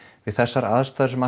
við þessar aðstæður sem